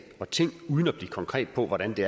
og ting uden at blive konkret på hvordan vi